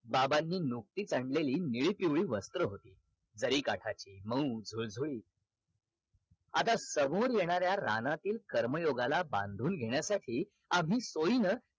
बाबांनी नुकतीच आणलेली निळी पिवळी वस्त्र होती जरी काठाची मऊ धूळधुळीत आता समोर येणाऱ्या रानातील कर्म योगाला बांधून घेण्यासाठी आम्ही सोयीन